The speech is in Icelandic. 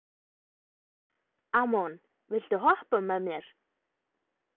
Amon, viltu hoppa með mér?